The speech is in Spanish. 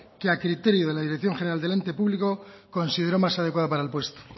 que a criterio de la dirección general del ente público consideró más adecuada para el puesto